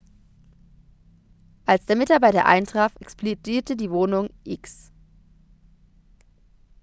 als der mitarbeiter eintraf explodierte die wohnung.x